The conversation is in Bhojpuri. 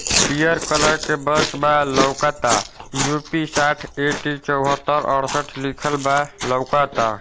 पीयर कलर के बस बा लौकता युपी साठ एट्टी चोह्त्तर अड़सठ लिखल बा लौकता।